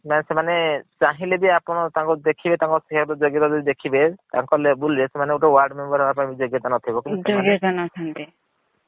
ସେମାନେ ଚାନହିଲେ ବି ଆପଣ ତାଙ୍କୁ ଦେଖିବେ ତାଙ୍କ behaviour ଦେଖିବେ ତାନକ୍ label ରେ ସେମାନେ ଗୋଟେ word member ହବା ପାଇଁ ବି ଯୋଗ୍ୟ ତା ନଥିବ ଯୋଗ୍ୟତା ନଥାଆନ୍ତି।